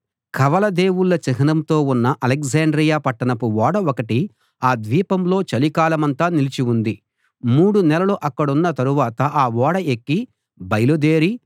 కవల దేవుళ్ళ చిహ్నంతో ఉన్న అలెగ్జాండ్రియ పట్టణపు ఓడ ఒకటి ఆ ద్వీపంలో చలికాలమంతా నిలిచి ఉంది మూడు నెలలు అక్కడున్న తరువాత ఆ ఓడ ఎక్కి బయలుదేరి